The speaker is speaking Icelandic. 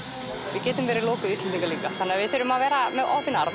við getum verið lokuð Íslendingar líka við þurfum að vera með opinn arm